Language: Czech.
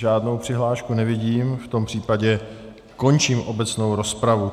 Žádnou přihlášku nevidím, v tom případě končím obecnou rozpravu.